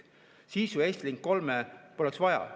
Siis ju Estlink 3 poleks vaja.